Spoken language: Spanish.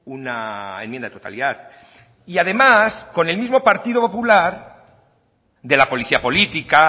una enmienda de totalidad y además con el mismo partido popular de la policía política